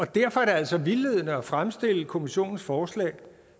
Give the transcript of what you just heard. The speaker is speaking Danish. derfor er det altså vildledende at fremstille kommissionens forslag